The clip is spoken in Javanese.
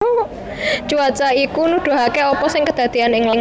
Cuaca iku nuduhaké apa sing kedadéyan ing langit